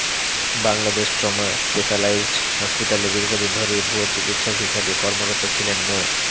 Bangladesh trauma specialised হসপিটালে দীর্ঘদিন ধরেই ভুয়া চিকিৎসক হিসেবে কর্মরত ছিলেন মো